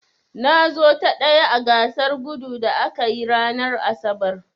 Na zo ta ɗaya a gasar gudun da aka yi ranar asabar.